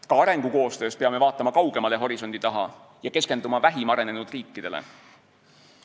Ka arengukoostöös peame vaatama kaugemale horisondi taha ja keskenduma vähim arenenud riikidele.